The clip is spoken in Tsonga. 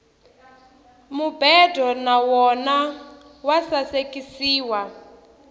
mubedo na wona wa sasekisiwa